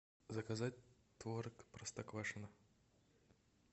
заказать творог простоквашино